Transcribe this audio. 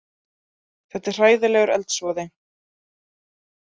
Þetta er hræðilegur eldsvoði